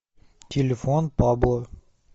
телефон пабло